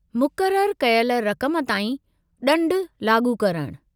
मुक़ररु कयल रक़म ताईं ॾंड लाॻू करणु।